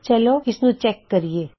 ਚਲੋ ਇਸਨੂੰ ਚੈਕ ਕਰਿਏ